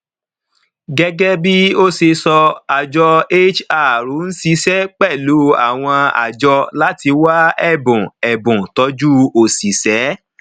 gẹgẹ bí ó ṣe sọ àjọ hr ń ṣiṣẹ pẹlú àwọn àjọ láti wá ẹbùn ẹbùn tọjú òṣìṣẹ